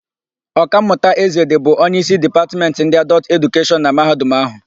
Ọkammụta Ezedị bụ onyeísí na Dipatmentị ndị Adọltụ Edukeshọn na Mahadum áhụ̀.